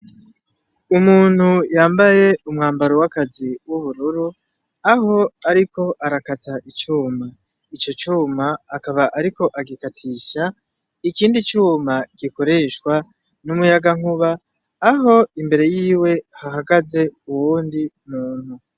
Umuntu yambaye umwambaro w'akazi w'ubururu aho, ariko arakata icuma ico cuma akaba, ariko agikatisha ikindi cuma gikoreshwa n'umuyaga nkuba aho imbere yiwe hahagaze uwundi muntu.